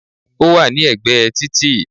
Ó wà ní ègbé títì